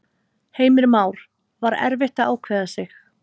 Heimir Már: Var erfitt að ákveða sig?